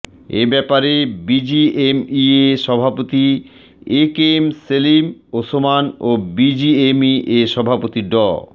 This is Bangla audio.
এ ব্যাপারে বিজিএমইএ সভাপতি A K M Selim Osman ও বিজিএমইএ সভাপতি ড